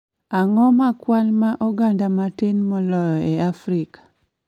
Ang�o ma kwan ma oganda matin moloyo e Afrika?